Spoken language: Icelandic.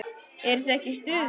Eruð þið ekki í stuði?